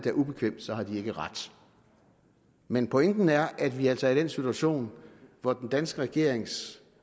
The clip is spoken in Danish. er ubekvemt så har de ikke ret men pointen er at vi altså er i den situation hvor den danske regerings